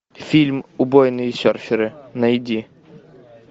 фильм убойные серферы найди